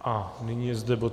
A nyní je zde bod